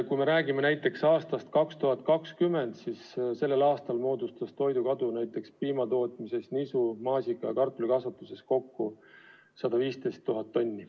Kui me räägime näiteks aastast 2020, siis mullu moodustas toidukadu piimatootmises, nisu-, maasika- ja kartulikasvatuses kokku 115 000 tonni.